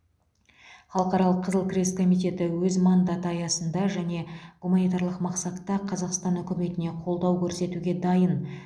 халықаралық қызыл крест комитеті өз мандаты аясында және гуманитарлық мақсатта қазақстан үкіметіне қолдау көрсетуге дайын